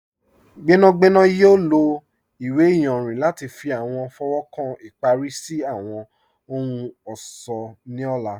Gbẹnagbẹna yọ̀ lọ iwe ìyànrin lati fi awọn fọwọ́kan ipari si awọn ohun-ọṣọ ni ọ̀là.